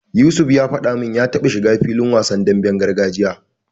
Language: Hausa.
Yusuf ya faɗa min ya taba shiga filin wasan demben gargajiya.